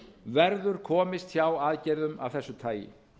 verður komist hjá aðgerðum af þessu tagi